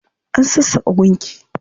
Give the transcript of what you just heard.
An sassaƙa gunki.